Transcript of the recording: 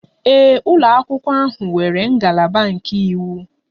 Ee, ụlọ akwụkwọ ahụ nwere ngalaba nke iwu.